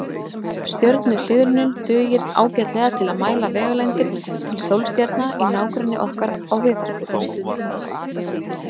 Stjörnuhliðrunin dugir ágætlega til að mæla vegalengdir til sólstjarna í nágrenni okkar í Vetrarbrautinni.